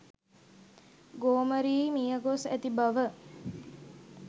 ගෝමරී මිය ගොස් ඇති බව